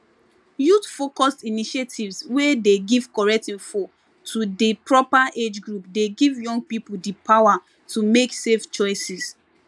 youthfocused initiatives wey dey give correct info to di proper age group dey give young people di power to make safe choices